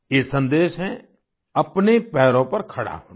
ये सन्देश है अपने पैरों पर खड़ा होना